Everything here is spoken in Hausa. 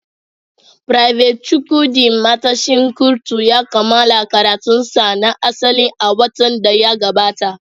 Private Chukwudi, matashin kurtu, ya kammala karatunsa na asali a watan da ya gabata.